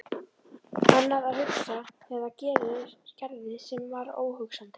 Annað að hugsa þegar það gerðist sem var óhugsandi.